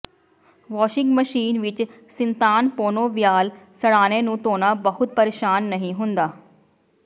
washing machine ਵਿਚ ਸਿੰਤਾਨਪੋਨੋਵਯਾਲ ਸਰ੍ਹਾਣੇ ਨੂੰ ਧੋਣਾ ਬਹੁਤਾ ਪਰੇਸ਼ਾਨ ਨਹੀਂ ਹੁੰਦਾ